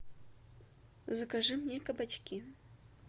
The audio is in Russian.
закажи мне кабачки